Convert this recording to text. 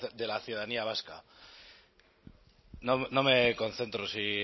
de la ciudadanía vasca no me concentro si